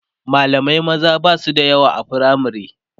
mallamai maza Basu da yawa a firamare